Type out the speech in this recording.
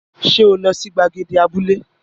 Ṣé o lọ sí gbàgede abúlé?